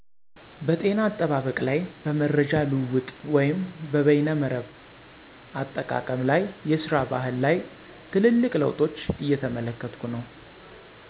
" በ ጤና አጠባበቅ ላይ በ መረጃ ልዉዉጥ ወይም በይነመረብ አጠቃቀም ላይ የስራ ባህል ላይ ትልልቅ ለዉጦች እየተመለከትኩ ነዉ"።